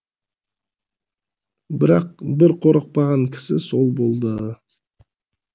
бірақ бір қорықпаған кісі сол болды